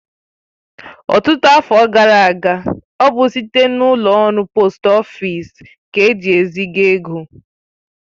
Ọtụtụ afọ gara aga, ọ bụ site n'ụlọ ọrụ poost ofịsi ka eji eziga ego